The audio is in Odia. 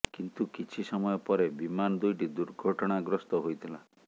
କିନ୍ତୁ କିଛି ସମୟ ପରେ ବିମାନ ଦୁଇଟି ଦୁର୍ଘଟଣାଗ୍ରସ୍ତ ହୋଇଥିଲା